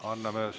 Anname sõna …